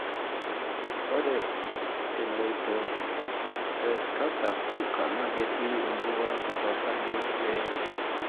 ore elioto e ecanser evalver na ketii embukoroto osarge weojo.